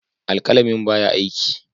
Alƙalamin ba ya aiki.